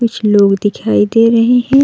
कुछ लोग दिखायी दे रहे हैं।